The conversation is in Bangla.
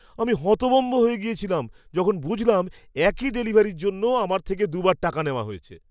আমি হতভম্ব হয়ে গেছিলাম যখন বুঝলাম একই ডেলিভারির জন্য আমার থেকে দুবার টাকা নেওয়া হয়েছে!